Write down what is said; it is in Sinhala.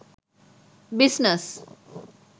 business